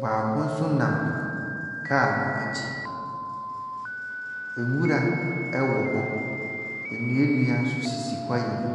baako nso nam kaa noa akyi. Enwura ɛwɔ hɔ, nnua nnua nso sisi kwae no mu.